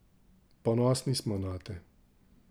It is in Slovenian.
Ponosni smo nate!